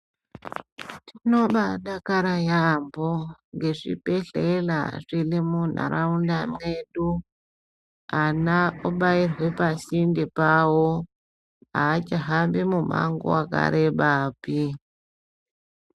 Tinobaadakara yaambo ngezvibhedhlera zviri muntaraunda medu, ana obairwe pasinde pawo aachahambi mumango wakarebapi.